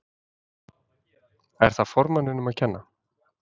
Er það formanninum að kenna?